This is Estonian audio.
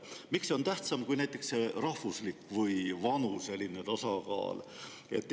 Miks see on tähtsam kui näiteks rahvuslik või vanuseline tasakaal?